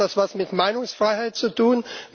Hat das etwas mit Meinungsfreiheit zu tun?